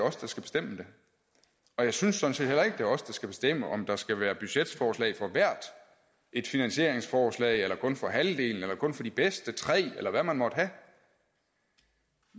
os der skal bestemme og jeg synes sådan set heller ikke er os der skal bestemme om der skal være budgetforslag for hvert et finansieringsforslag eller kun for halvdelen eller kun for de bedste tre eller hvad man måtte have